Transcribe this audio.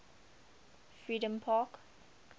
freedompark